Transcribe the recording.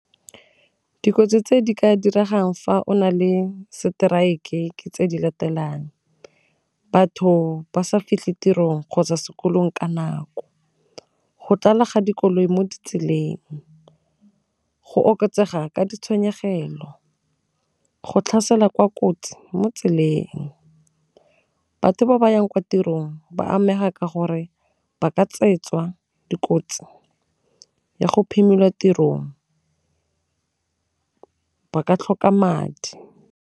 Dikotsi tse di ka diregang fa o na le strike-e ke tse di latelang, batho ba sa fitlhe tirong kgotsa sekolong ka nako, go tlala ga dikoloi mo ditseleng, go oketsega ka ditshenyegelo, go tlhaselwa kwa kotsi mo tseleng, batho ba ba yang kwa tirong ba amega ka gore ba ka dikotsi ya go phimolwa tirong, ba ka tlhoka madi.